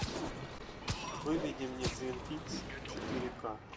выведи мне твин пикс четыре ка